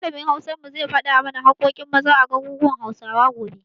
Malamin Hausar mu zai faɗa mana haƙƙoƙin Maza a garuruwan Hausawa, gobe.